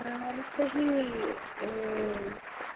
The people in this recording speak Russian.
а расскажи